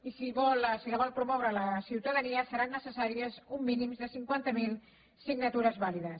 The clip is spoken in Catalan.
i si la vol promoure la ciutadania seran necessàries un mínim de cinquanta mil signatures vàlides